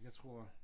Jeg tror